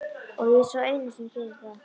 Og ég er sá eini sem það gerir.